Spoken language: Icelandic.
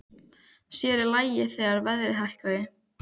Sér í lagi þegar verðið hækkaði.